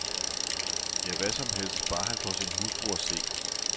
Ja, hvad som helst, bare han får sin hustru at se.